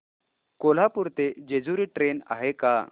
कोल्हापूर ते जेजुरी ट्रेन आहे का